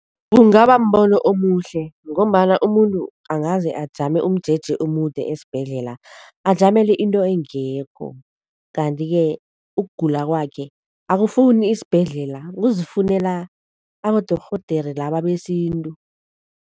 Kungaba mbono omuhle ngombana umuntu angaze ajame umjeje omude esibhedlela, ajamele into engekho kanti-ke ukugula kwakhe akufuni isibhedlela, kuzifunela abadorhodere laba besintu.